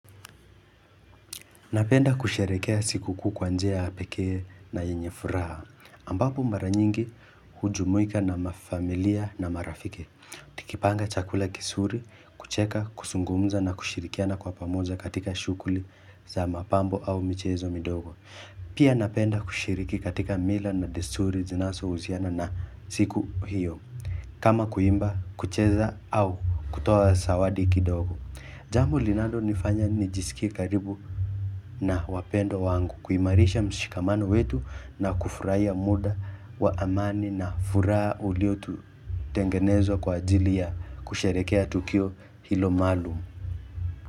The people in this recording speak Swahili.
Napenda kusherehekea siku kuu kwa njia ya pekee na yenye furaha. Ambapo mara nyingi hujumuika na mafamilia na marafiki. Tukipanga chakula kizuri, kucheka, kuzungumza na kushirikiana kwa pamoja katika shughuli za mapambo au michezo midogo. Pia napenda kushiriki katika mila na desturi zinazohusiana na siku hiyo. Kama kuimba, kucheza au kutoa zawadi kidogo. Jambo linalonifanya nijisikie karibu na wapendwa wangu kuimarisha mshikamano wetu na kufurahia muda wa amani na furaha uliotengenezwa kwa ajili ya kusharehekea Tukio hilo maalum.